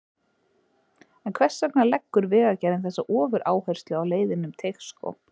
En hvers vegna leggur Vegagerðin þessa ofuráherslu á leiðina um Teigsskóg?